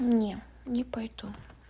не не пойду